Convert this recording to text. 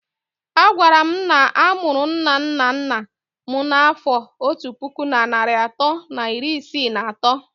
A gwara m na a mụrụ nna nna nna m n'afọ otu puku na narị atọ na iri isii na atọ.